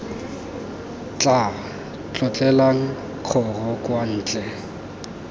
tla tlolelang kgoro kwa ntle